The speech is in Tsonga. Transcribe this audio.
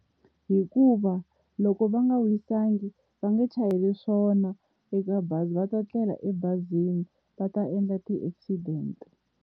Hikuva loko va nga wisangi, va nge chayeli swona eka bazi va ta tlela ebazini va ta endla ti-accident-e.